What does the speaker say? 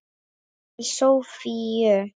Til Soffíu.